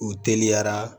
U teliyara